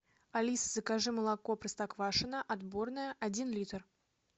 алиса закажи молоко простоквашино отборное один литр